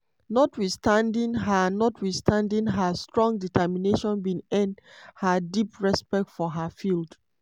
notwithstanding her notwithstanding her strong determination bin earn her deep respect for her field.